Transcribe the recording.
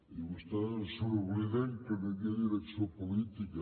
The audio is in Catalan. i vostès se n’obliden que no hi havia direcció política